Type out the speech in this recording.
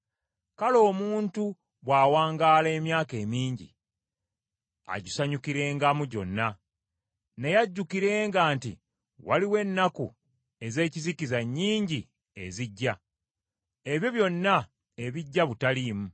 Kale omuntu bw’awangaala emyaka emingi, agisanyukirengamu gyonna, naye ajjukirenga nti waliwo ennaku ez’ekizikiza nnyingi ezijja. Ebyo byonna ebijja butaliimu.